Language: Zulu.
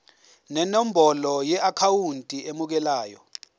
nenombolo yeakhawunti emukelayo